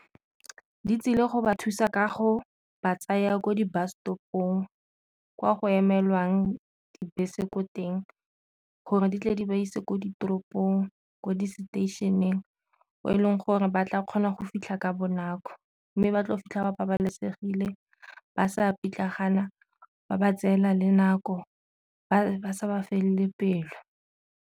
Ditsile go ba thusa kago ba tsaya ko di bus stop-ong kwa go emelwang dibese ko teng gore di tle di ba ise ko ditoropong, ko di station fa o e leng gore ba tla kgona go fitlha ka bonako. Mme ba tlo go fitlha ba babalesegile ba sa pitlagana ba ba tseela le nako ba sa ba felele pelo.